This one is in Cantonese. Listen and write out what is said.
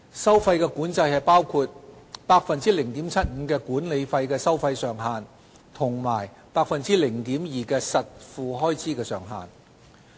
收費管制包括 0.75% 的管理費收費上限及 0.2% 的實付開支上限。